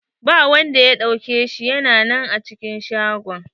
Ba wanda ya dauka shi, ya na nan a cikin shago.